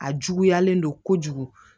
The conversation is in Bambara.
A juguyalen don kojugu